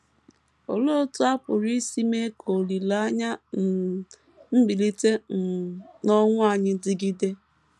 Olee otú a pụrụ isi mee ka olileanya um mbilite um n’ọnwụ anyị dịgide?